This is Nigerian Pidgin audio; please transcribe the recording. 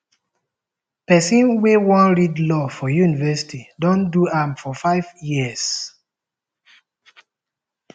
`pesin wey wan read law for university dey do am for five years.